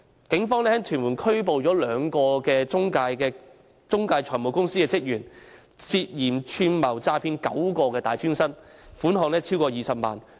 警方於屯門拘捕了兩名中介財務公司職員，他們涉嫌串謀詐騙9名大專生，涉及款項超過20萬元。